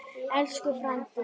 Elsku frændi.